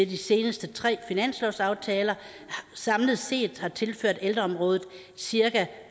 de seneste tre finanslovsaftaler samlet set har tilført ældreområdet cirka